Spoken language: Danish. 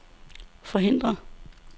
forhindre